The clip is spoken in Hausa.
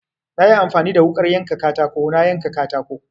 Na yi amfani da wuƙar yanka katako na yanka katako.